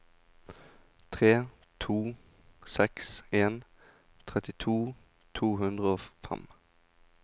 tre to seks en trettito to hundre og fem